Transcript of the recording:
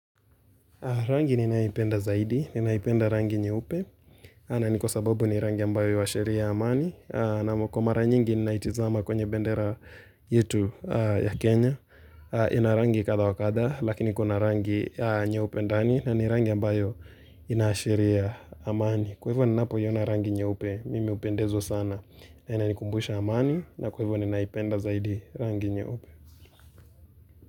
Rangi ninaipenda zaidi, ninaipenda rangi nyeupe, ana ni kwa sababu ni rangi ambayo inashiria amani, namo kwa mara nyingi ninaitizama kwenye bendera yetu ya Kenya, ina rangi kadha wa kadha, lakini kuna rangi nyeupe ndani, na ni rangi ambayo inaashiria amani, kwa hivyo ninapo yona rangi nyeupe, mimi upendezwo sana, na inaikumbusha amani, na kwa hivyo ninaipenda zaidi rangi nye upe.